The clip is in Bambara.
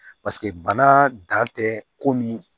bana dan tɛ ko min